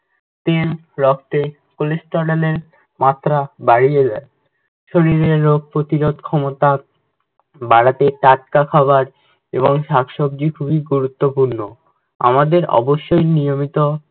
তেল রক্তে cholesterol এর মাত্রা বাড়িয়ে দেয়। শরীরের রোগ প্রতিরোধ ক্ষমতা বাড়াতে টাটকা খাবার এবং শাক সবজি খুবই গুরুত্বপূর্ণ। আমাদের অবশ্যই নিয়মিত